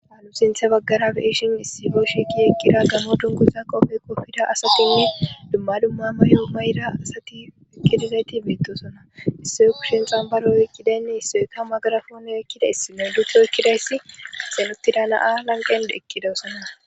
Aalu sinthe baggarabe iishin issifo shiki eqqida gammo dunguza qofe kopfida asatenni dumma dumma may'o may'ra asatiekkidizayti betosona issoykushen xambaro yokkidaynne issoyka magarafoone ekkidays me duto ekkidayssi axenottida naa lanqen ekkidosonna.